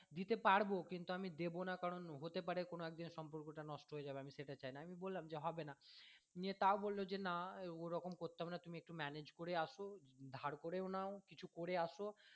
দিতে পারবো কিন্তু আমি দেবো না কারন হতে পারে কোনো একদিন সম্পর্ক টা নষ্ট হয়ে যাবে তো আমি সেটা চাই না আমি বললাম যে হবে না নিয়ে তাও বললো যে না ওরকম করতে হবে না তুমি একটু manage করে আসো ধার করেও নাও কিছু করে আসো